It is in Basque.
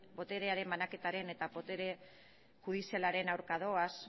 boterearen banaketaren eta botere judizialaren aurka doaz